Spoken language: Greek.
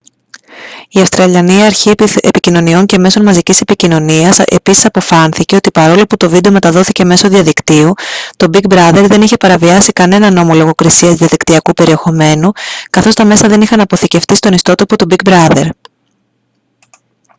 η αυστραλιανή αρχή επικοινωνιών και μέσω μαζικής επικοινωνίας επίσης αποφάνθηκε ότι παρόλο που το βίντεο μεταδόθηκε μέσω διαδικτύου το big brother δεν είχε παραβιάσει κανέναν νόμο λογοκρισίας διαδικτυακού περιεχομένου καθώς τα μέσα δεν είχαν αποθηκευτεί στον ιστότοπο του big brother